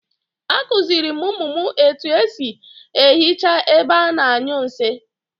A kuziiri m umu m etu e si ehicha ebe a na-anyu nsi